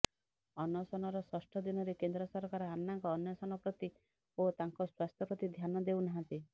ଅନଶନର ଷଷ୍ଠ ଦିନରେ କେନ୍ଦ୍ର ସରକାର ଆନ୍ନାଙ୍କ ଅନଶନ ପ୍ରତି ଓ ତାଙ୍କ ସ୍ୱାସ୍ଥ୍ୟ ପ୍ରତି ଧ୍ୟାନ ଦେଉନାହନ୍ତି